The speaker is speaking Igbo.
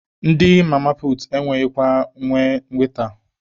Ndị mama puutu anaghịkwa enwe waita,